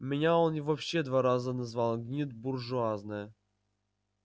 меня он вообще два раза назвал гнида буржуазная